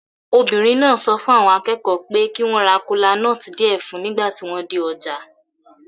Obìnrin náà sọ fún àwọn akẹ́kọ̀ọ́ pé kí wọ́n ra kola nuts díẹ̀ fún un nígbà tí wọ́n dé ọjà.